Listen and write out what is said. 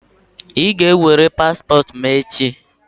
I ga-ewere paspọtụ m echi!